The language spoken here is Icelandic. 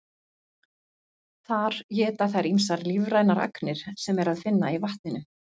Þar éta þær ýmsar lífrænar agnir sem er að finna í vatninu.